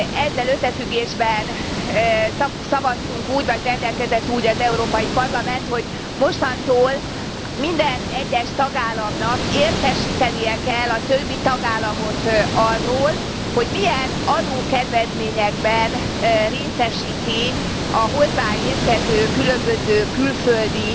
Ezzel összefüggésben szavaztunk úgy, vagy rendelkezett úgy az Európai Parlament, hogy mostantól minden egyes tagállamnak értesítenie kell a többi tagállamot arról, hogy milyen adókedvezményekben részesíti a hozzáérkező különböző külföldi